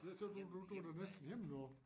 Ja så du du du da næsten hjemme nu